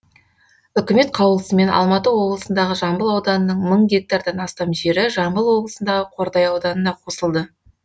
үкімет қаулысымен алматы облысындағы жамбыл ауданының мың гектардан астам жері жамбыл облысындағы қордай ауданына қосылды